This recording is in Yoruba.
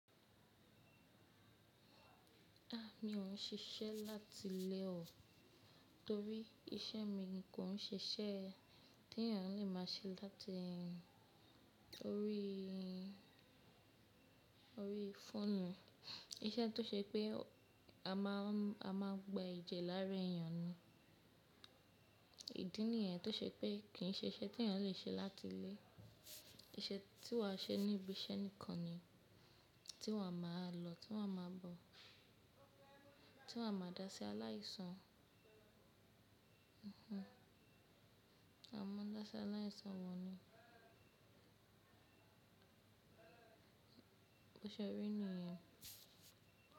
A ni o n ṣiṣẹ lati ile o, tori ise mi nko n ṣe isẹ ti eniyan le ma ṣe lati orí fóònù, ise to se pe a ma gba eje lare eniyan ni, idi niyen to se pe kii ṣe iṣẹ ti eniyan le ṣe lati ile, iṣẹ ti wa ṣe ni ibiṣẹ nikan ni, ti wa ma lọ, ti wa ma bọ, ti wa ma da si alaisan, bo ṣe ri niyen.